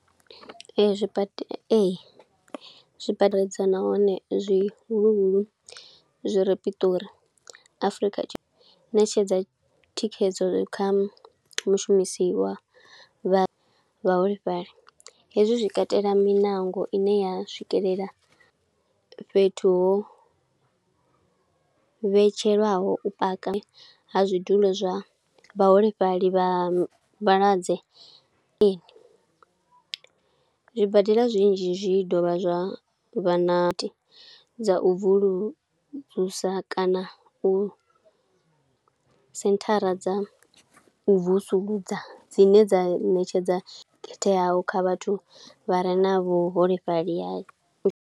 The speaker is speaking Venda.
Ee, zwibade, ee, zwi nahone zwihulu huu, zwi re Pitori. Afrika Tshipe, ṋetshedza thikhedzo kha mushumisi wa vha vhaholefhali. Hezwi zwi katela miṋango ine ya swikelela fhethu ho vhetshelwaho u paka ha zwidulo zwa vhaholefhali vha vhalwadze. Zwibadela zwinzhi zwi dovha zwa vha na dza u vuluvusa kana u senthara dza vusuludza dzine dza ṋetshedza khetheaho kha vhathu vha re na vhuholefhali ha.